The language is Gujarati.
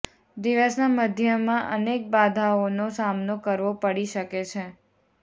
દિવસના મધ્યમાં અનેક બાધાઓનો સામનો કરવો પડી શકે છે